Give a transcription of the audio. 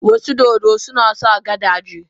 Wasu dodo suna sa gadaje.